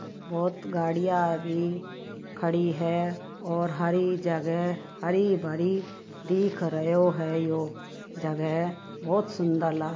बहुत गाड़िया अभी खड़ी हैं और हरी जगह हरी भरी दिख रियो है यो जगह बहुत सुन्दर लाग --